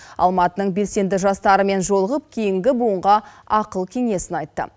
алматының белсенді жастарымен жолығып кейінгі буынға ақыл кеңесін айтты